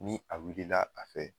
Ni a wulila a fɛ